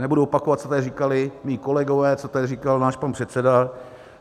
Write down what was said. Nebudu opakovat, co tady říkali mí kolegové, co tady říkal náš pan předseda.